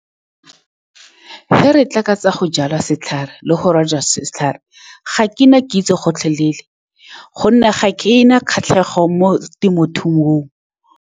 Fa re tla ka tsa go jala setlhare le go rojwa ga setlhare, ga ke na kitso gotlhelele ka gonne ga ke na kgatlhego mo temothuong.